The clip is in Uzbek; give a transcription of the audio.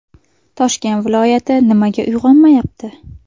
Toshkent viloyati nimaga uyg‘onmayapti?.